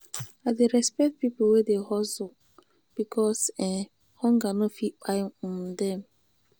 i dey respect pipo wey dey hustle because um hunger no fit kpai um dem.